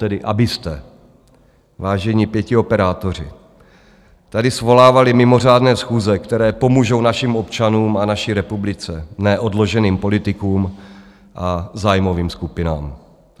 tedy abyste, vážení pětioperátoři, tady svolávali mimořádné schůze, které pomůžou našim občanům a naší republice, ne odloženým politikům a zájmovým skupinám.